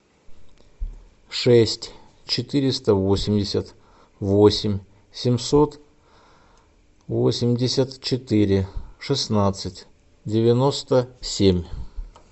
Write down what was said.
шесть четыреста восемьдесят восемь семьсот восемьдесят четыре шестнадцать девяносто семь